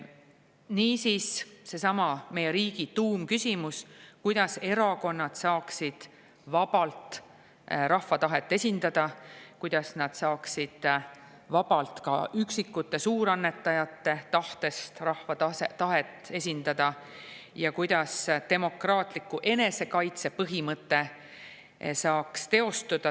Niisiis, seesama meie riigi tuumküsimus on, kuidas erakonnad saaksid vabalt rahva tahet esindada, kuidas nad saaksid ka üksikute suurannetajate tahtest vabalt rahva tahet esindada ja kuidas demokraatia enesekaitse põhimõte saaks teostuda.